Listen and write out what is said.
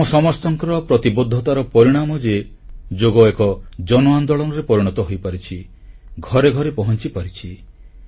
ଏହା ଆମ ସମସ୍ତଙ୍କର ପ୍ରତିବଦ୍ଧତାର ପରିଣାମ ଯେ ଯୋଗ ଏକ ଜନଆନ୍ଦୋଳନରେ ପରିଣତ ହୋଇପାରିଛି ଘରେ ଘରେ ପହଂଚିପାରିଛି